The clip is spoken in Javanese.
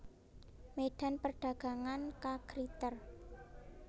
Medan Perdagangan K Gritter